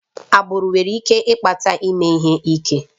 Agbụrụ nwere ike ịkpata ime ihe ike